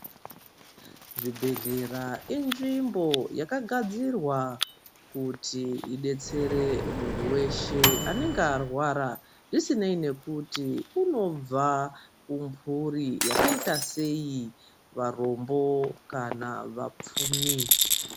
Zvibhedhlera inzvimbo yakagadzirwa kuti idetsere muntu weshe anenge arwara zvisinei nekuti unobva kumburi yakaita sei varombo kana vapfumi.